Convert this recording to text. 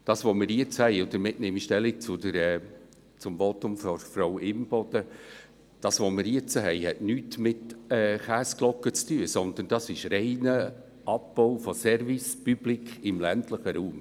Das, was wir jetzt haben – und damit nehme ich Stellung zum Votum von Frau Imboden –, hat nichts mit Käseglocke zu tun, sondern es ist ein reiner Abbau von Service Public im ländlichen Raum.